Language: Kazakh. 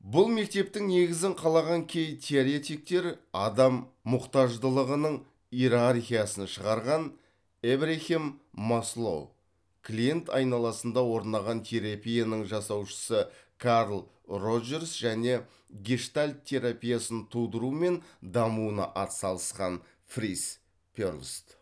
бұл мектептің негізін қалаған кей теоретиктер адам мұқтаждылығының иерархиясын шығарған эбрахем маслоу клиент айналысында орнаған терапияның жасаушысы карл роджерс және гештальт терапиясын тудыру мен дамуына ат салысқан фриц перлс